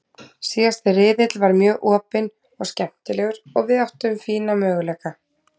Síðasti riðill var mjög opinn og skemmtilegur og við áttum fína möguleika.